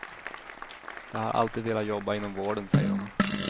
Jag har alltid velat jobba inom vården, säger hon.